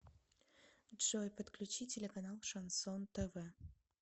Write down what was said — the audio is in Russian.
джой подключи телеканал шансон тв